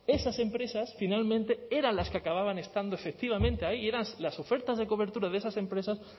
esas empresas finalmente eran las que acababan estando efectivamente ahí y eran las ofertas de cobertura de esas empresas